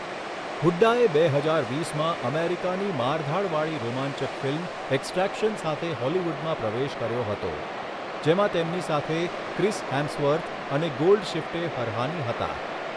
હુડ્ડાએ બે હજાર વીસમાં અમેરિકાની મારધાડવાળી રોમાંચક ફિલ્મ એક્સટ્રેક્શન સાથે હોલિવૂડમાં પ્રવેશ કર્યો હતો, જેમાં તેમની સાથે ક્રિસ હેમ્સવર્થ અને ગોલ્ડશિફ્ટે ફરહાની હતા.